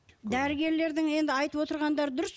дәрігерлердің енді айтып отырғандары дұрыс